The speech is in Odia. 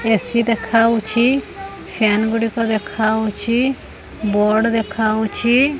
ଏ_ସି ଦେଖାଯାଉଛି ଫ୍ୟାନ ଗୁଡ଼ିକ ଦେଖା ଯାଉଛି ବୋର୍ଡ ଦେଖାଯାଉଛି।